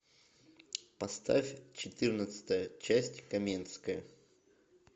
поставь четырнадцатая часть каменская